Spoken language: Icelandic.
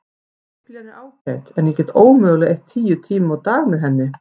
Biblían er ágæt en ég get ómögulega eytt tíu tímum á dag með henni.